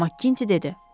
Maqinti dedi.